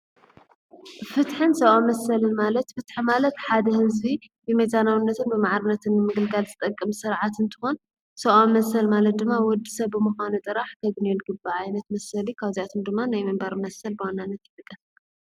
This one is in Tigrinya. ፍትሕን ሰብኣዊ መሰልን ማለት ፍትሒ ማለት ሓደ ህዝቢ ብሚዛናውነትን ብማዕርነትን ምግልጋል ዝጠቅም ስርዓት እንትኾን ሰብኣዊ መሰል ማለት ድማ ወዲ ሰብ ምዃኑ ጥራሕ ከግንዮ ዝግባእ ዓይነት መሰል ካብዚኣትም ድማ ናይ ምንበር መሰል ብዋናነት ይጥቀስ፡፡